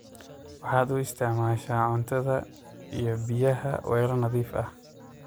Waxaad u isticmasha cuntadha iyo biyaaha weloo nadhiif ah.